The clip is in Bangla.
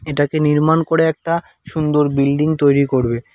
এটাকে নির্মাণ করে একটা সুন্দর বিল্ডিং তৈরি করবে।